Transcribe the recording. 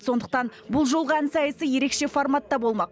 сондықтан бұл жолғы ән сайысы ерекше форматта болмақ